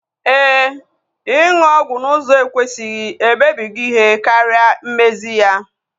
Éè, ịnụ ọgwụ n'ụzọ ekwesịghị emebigo ihe karịa mmezi ya